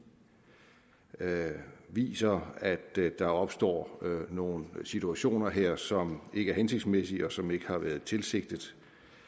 viser at der opstår nogle situationer her som ikke er hensigtsmæssige og som ikke har været tilsigtet